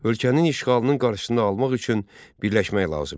Ölkənin işğalının qarşısını almaq üçün birləşmək lazım idi.